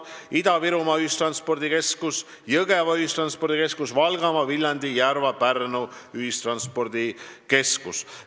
Peale selle on Ida-Virumaa, Jõgeva, Valgamaa, Viljandi, Järva ja Pärnu ühistranspordikeskus.